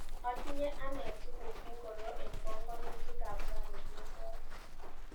Atinye ane tukuk ingoro eng panganutikap rani kemboi.